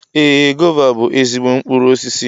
Ee, gova bú ezigbo mkpụrụ osisi